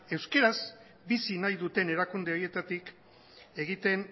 bizi nahi duten erakunde horietatik egiten